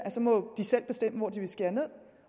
selv må bestemme hvor de vil skære ned